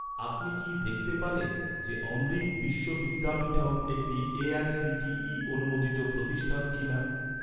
আপনি কি দেখতে পারেন যে, অমৃত বিশ্ব বিদ্যাপীঠম একটি এ.আই.সি.টি.ই অনুমোদিত প্রতিষ্ঠান কিনা?